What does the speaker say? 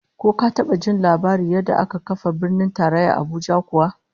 Ko ka taba jin labarin yadda aka kafa Birnin Tarayya Abuja kuwa?